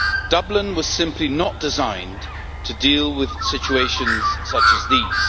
Dublin was simply not designed to deal with situations such as these.